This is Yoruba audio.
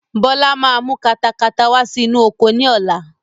Bọlá máa mú katakata wá sí inú oko ni ọ̀la